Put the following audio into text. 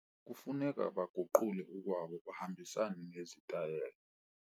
Kufuneka baguqule ukwabo bahambisane nezitayela.